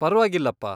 ಪರ್ವಾಗಿಲ್ಲಪ್ಪ.